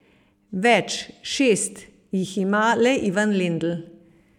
Več, šest, jih ima le Ivan Lendl.